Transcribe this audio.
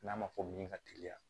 N'a ma fɔ min ka teliya